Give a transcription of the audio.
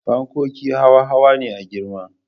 Fankoki hawa hawa ne a girma